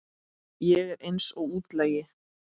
Ég er eins og útlagi.